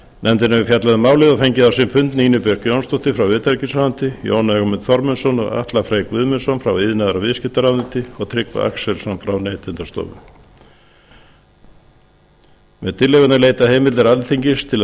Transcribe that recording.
nefndin hefur fjallað um málið og fengið á sinn fund nínu björk jónsdóttur frá utanríkisráðuneyti jón ögmund þormóðsson og atla frey guðmundsson frá iðnaðar og viðskiptaráðuneyti og tryggva axelsson frá neytendastofu með tillögunni er leitað heimildar alþingis til að